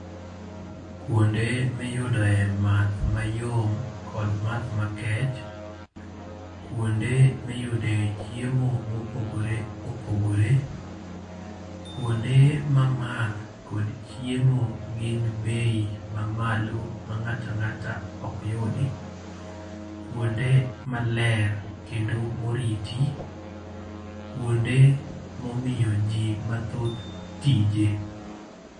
Kuonde miyudoe math mayom kod math makech. Kuonde miyude chiemo mopogore opogore. kuonde ma math kod chiemo gin bei mamalo ma ng'ato ang'ato ok yudi. Kuonde maler, kendo moriti. Kuonde momiyo ji mathoth tije.